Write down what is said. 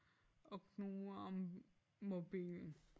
Og knuger om mobilen